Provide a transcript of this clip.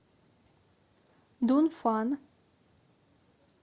дунфан